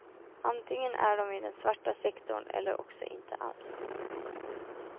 Antingen är de i den svarta sektorn eller också inte alls.